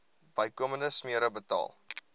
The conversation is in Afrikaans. bykomende smere betaal